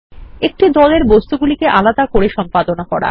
একটি দলের বস্তুগুলিকে আলাদা করে সম্পাদনা করা